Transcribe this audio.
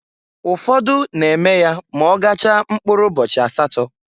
Ụfọdụ na-eme ya ma ọ gachaa mpkụrụ ụbọchị asatọ.